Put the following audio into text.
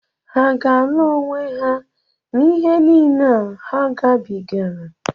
Hà aga-alụ onwe ha n'ihe niile a ha gabigara?